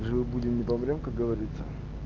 живы будем не помрём как говорится